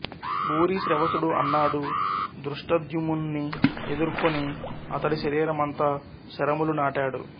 భూరిశ్రవసుడు అన్నాడు ధృష్టద్యుమ్నుని ఎదుర్కొని అతడి శరీరం అంతా శరములు నాటాడు